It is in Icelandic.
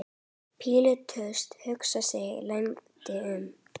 Pílatus hugsaði sig lengi um.